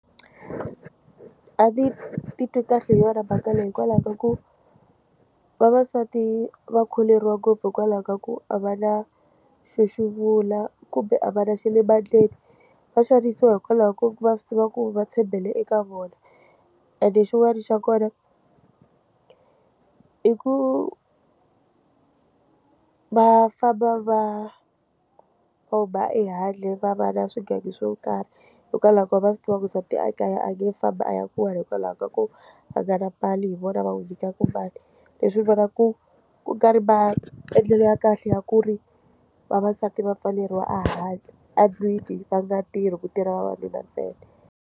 A ndzi titwi kahle hi yona mhaka ku vavasati va kholeriwa ngopfu hikwalaho ka ku a va na xo xovula kumbe a va na xa le mandleni va xanisiwa hikwalaho ka ku va swi tiva ku va tshembele eka vona ene xin'wana xa kona i ku va famba va ya ehandle va va na swigangu swo karhi hikwalaho ko va swi tiva ku nsati ekaya a nge famba a ya kula hikwalaho ka ku hlangana mali hi vona va nyikaku mali leswi ndzi vona ku kungari maendlelo ya kahle ya ku ri vavasati va pfaleriwa ahandle andlwini va nga tirhi ku tirha vavanuna ntsena.